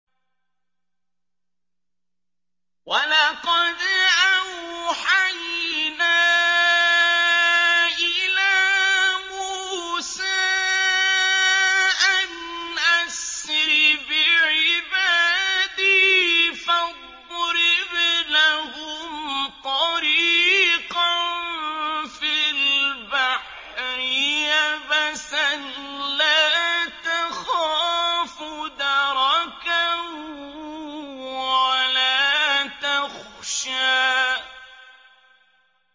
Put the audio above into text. وَلَقَدْ أَوْحَيْنَا إِلَىٰ مُوسَىٰ أَنْ أَسْرِ بِعِبَادِي فَاضْرِبْ لَهُمْ طَرِيقًا فِي الْبَحْرِ يَبَسًا لَّا تَخَافُ دَرَكًا وَلَا تَخْشَىٰ